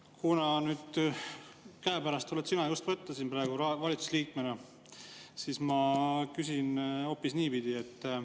Kuna sina valitsusliikmena oled siin just käepärast võtta, siis ma küsin hoopis niipidi.